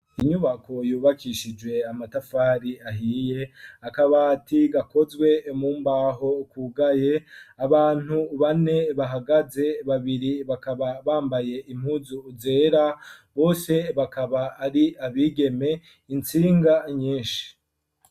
Inyubako yubakishije amatafari ahiye akabati gakozwe mu mbaho kugaye abantu bane bahagaze babiri bakaba bambaye impuzu zera bose bakaba ari abigeme intsinga nyishi.